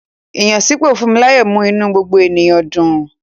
Ìyànsípò Funmilayo mú inú gbogbo ènìyàn dùn.